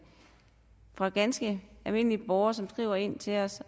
fra ganske almindelige borgere som skriver ind til os